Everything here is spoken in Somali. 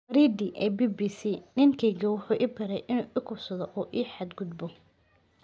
Waridi ee BBC: 'Ninkaayga wuxuu i baray inuu i kufsado oo i xadgudbo.'